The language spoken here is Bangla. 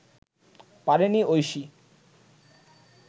পারেনি ঐশী